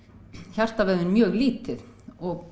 hjartavöðvinn mjög lítið og